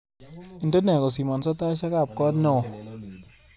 Indene kosimanyo taishekab koot neo